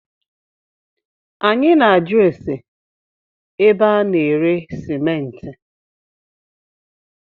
Anyị na ajụ ase ébé a na-ere simenti